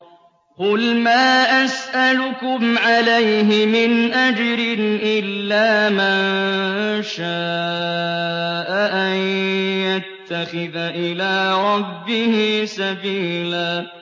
قُلْ مَا أَسْأَلُكُمْ عَلَيْهِ مِنْ أَجْرٍ إِلَّا مَن شَاءَ أَن يَتَّخِذَ إِلَىٰ رَبِّهِ سَبِيلًا